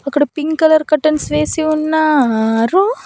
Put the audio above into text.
ఇక్కడ pink colour curtains వేసి ఉన్నారు.